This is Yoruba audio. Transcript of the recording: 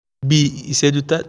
bii iṣẹju